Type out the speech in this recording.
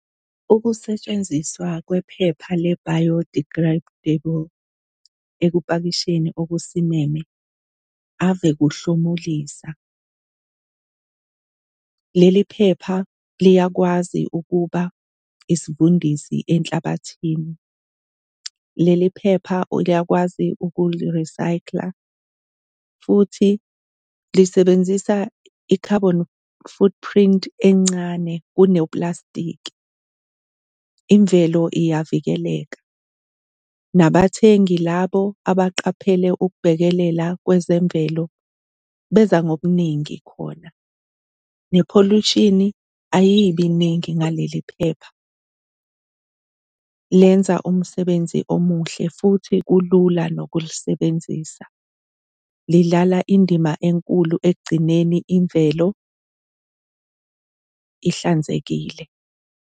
Ukusetshenziswa kwephepha le-biodegradable ekupakisheni okusimeme ave kuhlomulisa. Leli phepha liyakwazi ukuba isivundisi enhlabathini, leli phepha uyakwazi ukuli-recycle-a futhi lisebenzisa i-carbon footprint encane kuneyoplastiki. Imvelo iyavikeleka, nabathengi labo abaqaphele ukubhekelela kwezemvelo beza ngobuningi khona, nepholushini ayibi ningi ngaleli phepha. Lenza umsebenzi omuhle futhi kulula nokulisebenzisa. Lidlala indima enkulu ekugcineni imvelo ihlanzekile.